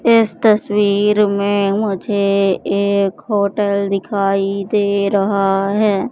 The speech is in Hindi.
इस तस्वीर में मुझे एक होटल दिखाई दे रहा है।